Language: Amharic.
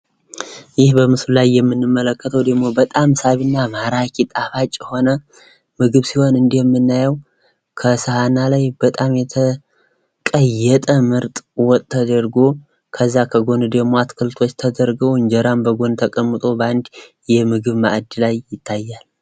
ይህ በምስሉ ላይ የምንመለከተው ደግሞ በጣም ሳቢና ማራኪ ፣ ጣፋጭ የሆነ ምግብ ሲሆን እንዲሁም ምናየው ከሳህና ላይ በጣም የተቀየጠ ምርጥ የሆነ ወጥ ነገርኳ ከዛ ከጎን ደግሞ አትክልቶች ተደርጎ እንጀራም በጎን ተቀምጦ በአንድ የምግብ ማዕድ ላይ ይታያል ።